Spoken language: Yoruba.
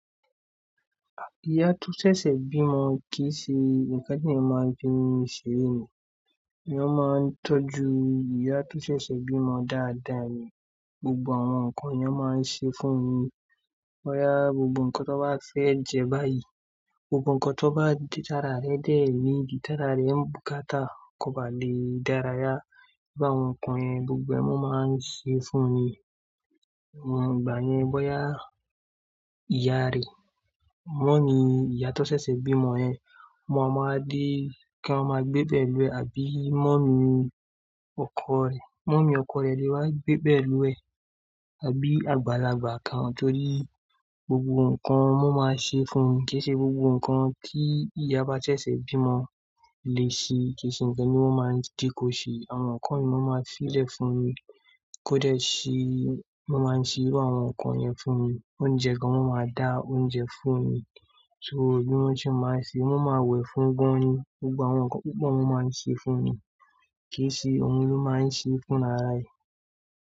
Ìyá tó ṣẹ̀ṣẹ̀ bímọ kì í ṣe ìkánní máa ń fi ń seré ni. Èèyán máa ń tọ́jú ìyá tó ṣẹ̀ṣẹ̀ bímọ dáadáa ni. Gbogbo àwọn nǹkan yẹn máa ń ṣe fún ni. Boyá gbogbo nǹkan tó bá fẹ́ jẹ báyìí, gbogbo nǹkan tó bá di ti ára re dé niidi, ti ára re ń bùkátà kò bá lè dára yá. Bi áwon nǹkan yẹn, gbogbo ẹ́ ni wọn máa ń ṣe fún ni. Awon ìgbà yẹn, bóyá ìyá rẹ̀, mọ́mi ìyá tó ṣẹ̀ṣẹ̀ bímọ yẹn, won ọ máa wa dé kí wọ́n máa gbé pẹ̀ lú ẹ, àbí mọ́mi ọkọ rẹ̀. Mọ́mi ọkọ rẹ̀ lè wá gbé pẹ̀ lú ẹ àbí àgbàlagbà kan, torí gbogbo nǹkan ni wọn máa ń ṣe fún ni. Kì í ṣe gbogbo nǹkan tí ìyá ba ṣẹ̀ṣẹ̀ bímọ lè ṣe. Kì í ṣe ǹkan ní wọ́n máa ń je ko ṣe. Àwọn nǹkan yìí ni wọ́n máa ń se lẹ̀ fún ni. Kó de ṣí, wọ́n máa ń ṣe irú àwọn nǹkan yẹn fún mi. Oúnjẹ kgan, wọ́n máa dà oúnjẹ fún mi. So bí wọ́n ṣe máa ń ṣe, wọ́n máa wẹ̀ fún gan-an ni. Gbogbo àwọn nǹkan pupo ni wọ́n máa ń ṣe fún ni. Kì í ṣe ohun ló máa ń ṣe e fún rara ẹ.